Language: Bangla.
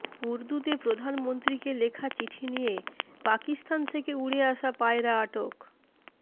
উর্দুতে প্রধানমন্ত্রীকে লেখা চিঠি নিয়ে পাকিস্তান থেকে উড়ে আসা পায়রা আটক